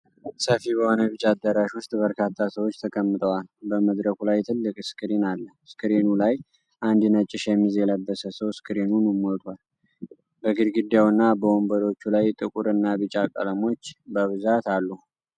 ሰፊ በሆነ ቢጫ አዳራሽ ውስጥ በርካታ ሰዎች ተቀምጠዋል። በመድረኩ ላይ ትልቅ ስክሪን አለ፣ ስክሪኑ ላይ አንድ ነጭ ሸሚዝ የለበሰ ሰው ስክሪኑን ሞልቷል። በግድግዳው እና በወንበሮቹ ላይ ጥቁር እና ቢጫ ቀለሞች በብዛት አሉ።